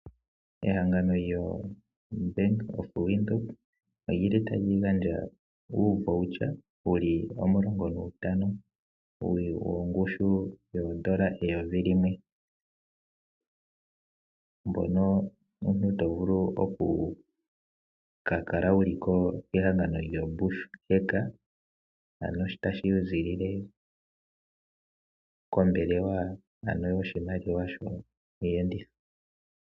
Ehangano lyobank of Windhoek Olyili tali gandja uuvoucher wuli omilongo ntano wongushu weedola eyovi limwe ngono omuntu tovulu oku ka kala wuli kehangano lyo bush bank ano sho tashi zilile kombelewa ano yoshimaliwa shiiyenditho.